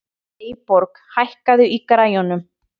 Eyborg, hækkaðu í græjunum.